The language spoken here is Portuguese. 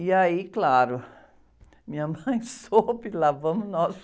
E aí, claro, minha mãe soube, lá vamos nós.